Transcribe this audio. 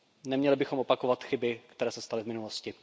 Neměli bychom opakovat chyby, které se staly v minulosti.